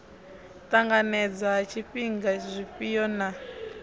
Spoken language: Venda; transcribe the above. ṱanganedzwa ha zwifhiwa zwifhio na